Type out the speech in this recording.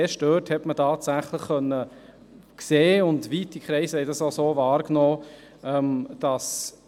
Erst dort konnte man tatsächlich sehen, dass diese Eingriffe viel stärker sind.